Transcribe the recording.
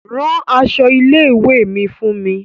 Ran aṣọ ilé ìwé mi fún mi.